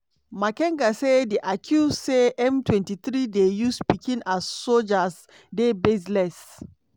makenga say di accuse say m23 dey use pikin as sojas dey "baseless".